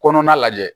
Kɔnɔna lajɛ